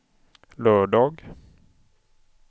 lördag